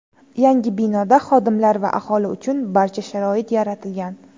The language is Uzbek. Yangi binoda xodimlar va aholi uchun barcha sharoit yaratilgan.